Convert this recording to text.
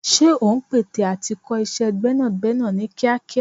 Ṣé ò ń pète à ti kọ́ iṣẹ́ gbẹ́nàgbẹ́nà ní kíákíá?